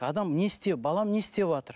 адам не істеп балам не істеватыр